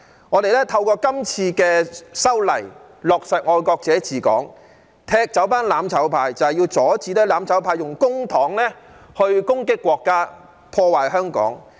我們透過今次的修例，落實"愛國者治港"，踢走"攬炒派"，就是要阻止"攬炒派"用公帑攻擊國家、破壞香港。